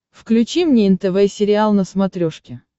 включи мне нтв сериал на смотрешке